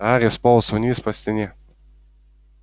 гарри сполз вниз по стене